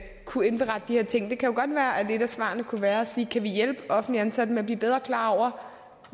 kunne indberette de her ting og det kan jo godt være at et af svarene kunne være at sige kan vi hjælpe offentligt ansatte med at blive bedre klar over